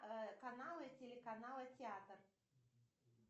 каналы телеканала театр